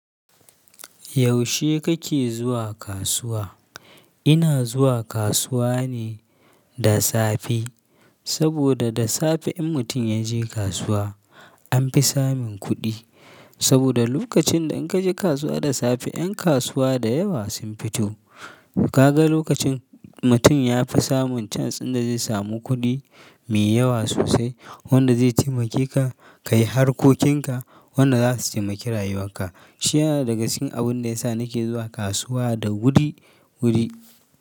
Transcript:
Yaushe kake zuwa kasuwa? Ina zuwa kasuwa ne da safe. Saboda da safe in mutum ya je kasuwa an fi samin kuɗi. Saboda lokacin da in ka je kasuwa da safe, 'yan kasuwa da yawa sun fito. Kaga lokacin mutum ya fi samun chance dinda zai samu kuɗi mai yawa sosai wanda zai taimakeka ka yi harkokinka wanda za su taimaki rayuwanka. Shi yana daga cikin abin da ya sa nake zuwa kasuwa da wuri-wuri.